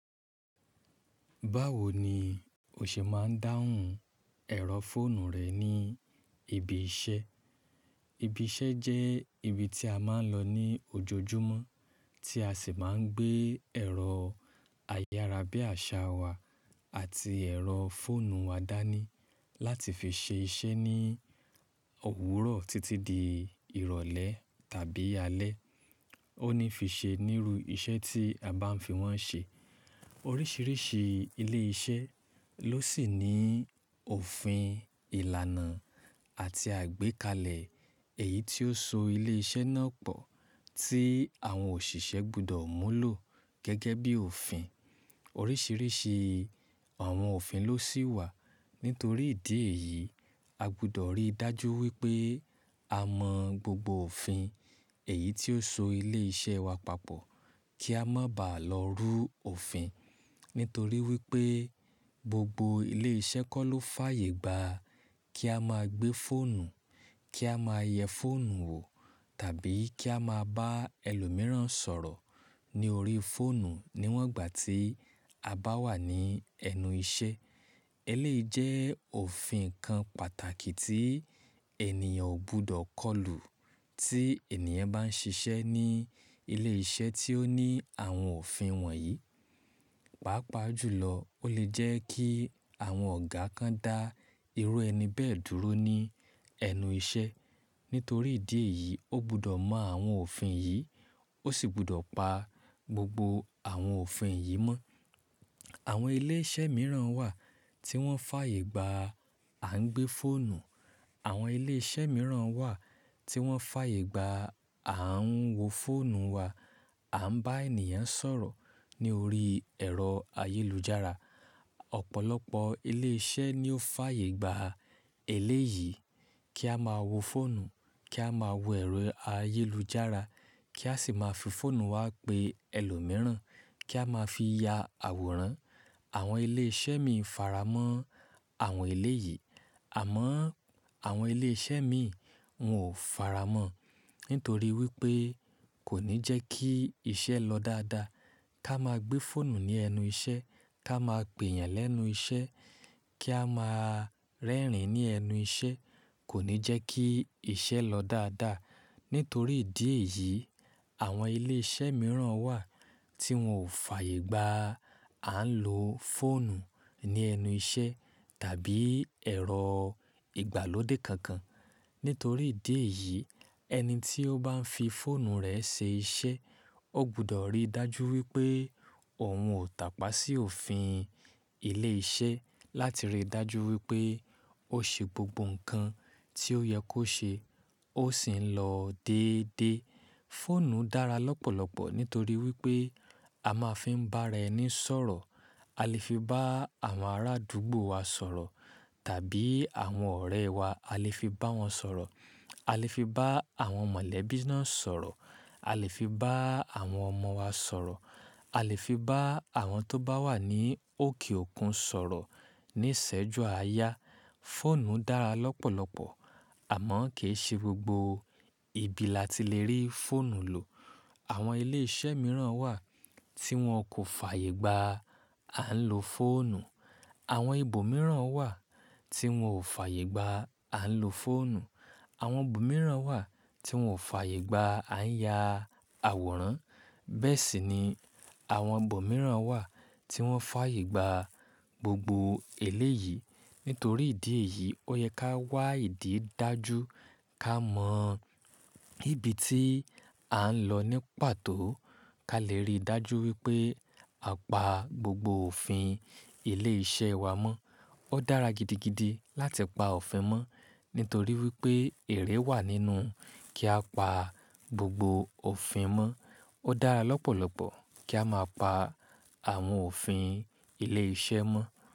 Báwo ni o ṣe máa ń dáhùn ẹ̀rọ fóònù rẹ ní ibi iṣẹ́? Ibi iṣẹ́ jẹ́ ibi tí a máa ń lọ ní ojojúmọ́, tí a sì máa ń gbé ẹ̀rọ ayára bí àṣá wà àti ẹ̀rọ fóònù wa dání láti fi ṣe iṣẹ́ ní òwúrọ̀ títí di ìrọ̀lẹ́ tàbí alẹ́. Ó ní fi ṣe níru iṣẹ́ tí a bá ń fi wọ́n ṣe. Oríṣiríṣi ilé iṣẹ́ ló sì ní òfin ìlànà àti àgbékalẹ̀ èyí tí ó so ilé iṣẹ́ náà pọ̀ tí àwọn òṣìṣẹ́ gbọdọ̀ múlò gẹ́gẹ́ bí òfin. Oríṣiríṣi àwọn òfin ló sì wà. Nítorí ìdí èyí, a gbọdọ̀ rí dájú wípé a mọ gbogbo òfin èyí tí ó so ilé iṣẹ́ wa papọ̀ kí a má bàá lọ rú òfin. Nítorí wípé gbogbo ilé iṣẹ́ kọ́ ló fàyègba kí a máa gbé fóònù, kí a máa yẹ fóònù wò tàbí kí a máa bá ẹlòmíràn sọ̀rọ̀ ní orí fóònù níwọ̀n ìgbà tí a bá wà ní ẹnu iṣẹ́. Eléyìí jẹ́ òfin kan pàtàkì tí ènìyàn ò gbọdọ̀ kọlù tí ènìyàn bá ń ṣiṣẹ́ ní ilé iṣẹ́ tí ó ní àwọn òfin wọ̀nyí. Pàápàá jùlọ ó lè jẹ́ kí àwọn ọ̀gá kan dá irú ẹni bẹ́ẹ̀ dúró ní ẹnu iṣẹ́. Nítorí ìdí èyí, ó gbọdọ̀ mọ àwọn òfin yìí, ó sì gbọdọ̀ pa gbogbo àwọn òfin yìí mọ́. Àwọn ilé iṣẹ́ mìíràn wà tí wọ́n fàyègba à ń gbé fóònù. Àwọn ilé iṣẹ́ mìíràn wà tí wọ́n fàyègba à ń wo fóònù wa, à ń bá ènìyàn sọ̀rọ̀ ní orí ẹ̀rọ ayélujára. Ọ̀pọ̀lọpọ̀ ilé iṣẹ́ ni ó fàyègba eléyìí kí a máa wo fóònù, kí a máa wo ẹ̀rọ ayélujára kí a sì máa fi fóònù wa pe ẹlòmíràn kí a máa fi ya àwòrán. Àwọn ilé iṣẹ́ míì faramọ́ àwọn eléyìí. Àmọ́ àwọn ilé iṣẹ́ mi wọ́n ò faramọ́. Nítorí wípé kò ní jẹ́ kí iṣẹ́ lọ dáadáa. Kí a máa gbé fóònù ní ẹnu iṣẹ́, kí a máa pè èèyàn lẹ́nu iṣẹ́, kí a máa rẹ́rìn ní ẹnu iṣẹ́ kò ní jẹ́ kí iṣẹ́ lọ dáadáa. Nítorí ìdí èyí, àwọn ilé iṣẹ́ mìíràn wà tí wọ́n ò fàyègba à ń lo fóònù ní ẹnu iṣẹ́ tàbí ẹ̀rọ ìgbàlódé kankan. Nítorí ìdí èyí ẹni tí ó bá ń fi fóònù rẹ̀ ṣe iṣẹ́ ó gbọdọ̀ rí dájú wípé òun ò tàpá sí òfin ilé iṣẹ́ láti rí dájú wípé ó ṣe gbogbo ǹkan tí ó yẹ kó ṣe ó sì ń lọ dédé. Fóònù dára lọ́pọ̀lọpọ̀ nítorí wípé a máa ń fi bá ara ẹni sọ̀rọ̀. A lè fi bá àwọn ará àdúgbò wa sọ̀rọ̀ tàbí àwọn ọ̀rẹ́ wa a lè fi bá wọn sọ̀rọ̀. A lè fi bá àwọn mọ̀lẹ́bí náà sọ̀rọ̀. A lè fi bá àwọn ọmọ wa sọ̀rọ̀. A lè fi bá àwọn tó bá wà ní òkè òkun sọ̀rọ̀ ní ìsẹ́jú àáyá. Fóònù dára lọ́pọ̀lọpọ̀ àmọ́ kì í ṣe gbogbo ibi la ti lè rí fóònù lò. Àwọn ilé iṣẹ́ mìíràn wà tí wọ́n kò fàyègba à ń lo fóònù. Àwọn ibo mìíràn wà tí wọ́n ò fàyègba à ń lo fóònù. Àwọn ibo mìíràn wà tí wọ́n ò fàyègba à ń ya àwòrán. Bẹ́ẹ̀ sì ni àwọn ibo mìíràn wà tí wọ́n fàyègba gbogbo eléyìí. Nítorí ìdí èyí ó yẹ ká wá ìdí dájú ká mọ ibi tí à ń lọ ní pàtó ká lè rí dájú wípé a pa gbogbo òfin ilé iṣẹ́ wa mọ́. Ó dára gidigidi láti pa òfin mọ́ nítorí wípé ère wà nínú kí á pa gbogbo òfin mọ́. Ó dára lọ́pọ̀lọpọ̀ kí á máa pa àwọn òfin ilé iṣẹ́ mọ́.